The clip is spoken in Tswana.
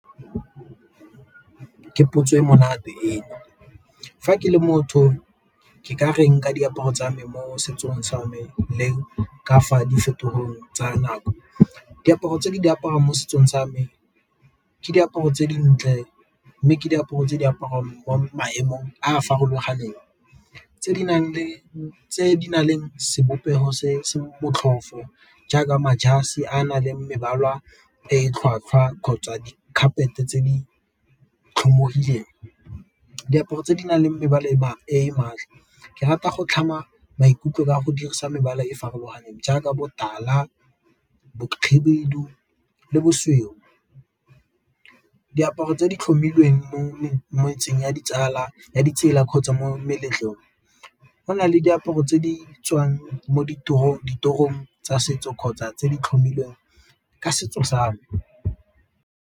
Ke potso e monate eno, fa ke le motho ke ka reng ka diaparo tsa me mo setsong sa me le ka fa di tsa nako? Diaparo tse di di apariwa mo setsong sa me ke diaparo tse dintle mme ke diaparo tse diaparo mo maemong a a farologaneng, tse di na leng sebopego se se motlhofo jaaka a nang le mebala e tlhwatlhwa kgotsa di tse di tlhomologileng. Diaparo tse di nang le mebala , ke rata go tlhama maikutlo ka go dirisa mebala e e farologaneng jaaka botala, bokhibidu, le bosweu. Diaparo tse di tlhomilweng mo motseng wa ditsala, ya ditsela kgotsa mo meletlong gona le diaparo tse di tswang mo ditorong tsa setso kgotsa tse di tlhomilweng ka setso sa me.